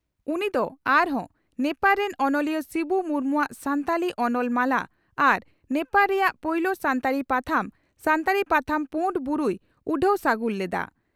ᱩᱱᱤ ᱫᱚ ᱟᱨᱦᱚᱸ ᱱᱮᱯᱟᱲ ᱨᱮᱱ ᱚᱱᱚᱞᱤᱭᱟᱹ ᱥᱤᱵᱩ ᱢᱩᱨᱢᱩᱼᱟᱜ "ᱥᱟᱱᱛᱷᱟᱞᱤ ᱚᱱᱚᱞ ᱢᱟᱞᱟ" ᱟᱨ ᱱᱮᱯᱟᱲ ᱨᱮᱭᱟᱜ ᱯᱳᱭᱞᱳ ᱥᱟᱱᱛᱟᱲᱤ ᱯᱟᱛᱷᱟᱢ ᱥᱟᱱᱛᱟᱲᱤ ᱯᱟᱛᱷᱟᱢ "ᱯᱩᱰ ᱵᱩᱨᱩ" ᱭ ᱩᱰᱷᱟᱹᱣ ᱥᱟᱹᱜᱩᱱ ᱞᱮᱫᱼᱟ ᱾